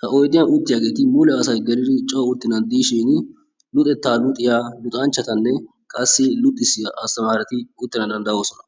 He oydiyaan uttiyaageti mule asay geelidi coo uuttenan diishin luxettaa luxiyaa luxanchchatanne qassi luuxissiyaa astaamareti uuttana dandayoosona.